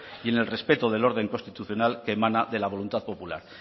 y en el respeto del orden constitucional que emana de la voluntad popular